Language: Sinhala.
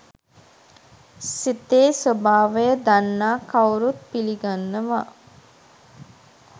සිතේ ස්වභාවය දන්නා කවුරුත් පිළිගන්නවා.